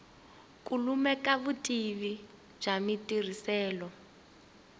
ku lemuka vutivi bya matirhiselo